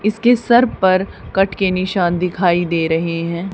इसके सर पर कट के निशान दिखाई दे रहे हैं।